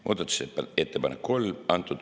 Muudatusettepanek nr 3.